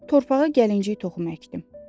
Torpağa gəlinci toxum əkdim.